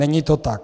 Není to tak.